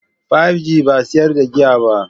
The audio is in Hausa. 5G ba sa sayar da giya.